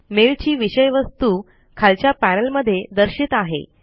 mail ची विषय वस्तू खालच्या पॅनल मध्ये दर्शित आहे